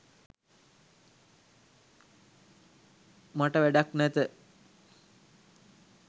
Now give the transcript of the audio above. මට වැඩක් නැත.